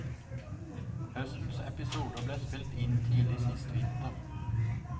Høstens episoder ble spilt inn tidlig sist vinter.